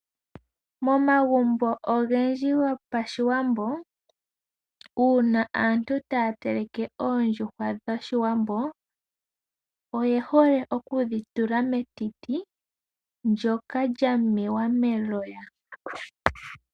Momagumbo ogendji gopashiwambo, uuna aantu ta ya teleke oondjuhwa dhoshiwambo oye hole oku dhitula metiti ndjoka lyamewa meloya.